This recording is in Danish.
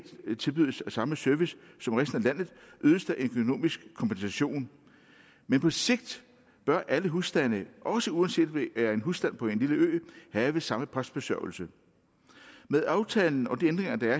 tilbydes samme service som resten af landet ydes der en økonomisk kompensation men på sigt bør alle husstande også uanset om det er en husstand på en lille ø have samme postbesørgelse med aftalen og de ændringer der er